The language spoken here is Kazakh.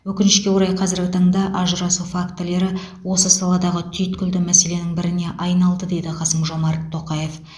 өкінішке орай қазіргі таңда ажырасу фактілері осы саладағы түйткілді мәселенің біріне айналды деді қасым жомарт тоқаев